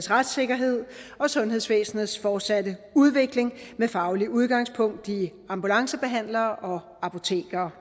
retssikkerhed og sundhedsvæsenets fortsatte udvikling med fagligt udgangspunkt i ambulancebehandlere og apotekere